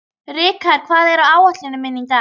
Rikharð, hvað er á áætluninni minni í dag?